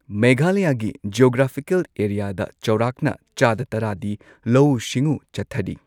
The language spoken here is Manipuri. ꯃꯦꯘꯥꯂꯌꯥꯒꯤ ꯖꯤꯑꯣꯒ꯭ꯔꯥꯐꯤꯀꯦꯜ ꯑꯦꯔꯤꯌꯥꯗ ꯆꯧꯔꯥꯛꯅ ꯆꯥꯗ ꯇꯔꯥꯗꯤ ꯂꯧꯎ ꯁꯤꯡꯎ ꯆꯠꯊꯔꯤ꯫